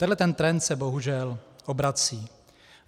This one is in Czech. Tenhle ten trend se bohužel obrací.